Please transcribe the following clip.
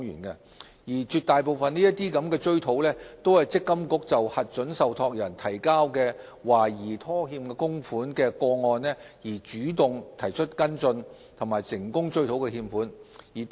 在絕大部分個案中，積金局根據核准受託人提交的懷疑拖欠供款的資料，主動作出跟進，最終成功追討欠款。